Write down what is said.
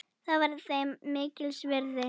Það var þeim mikils virði.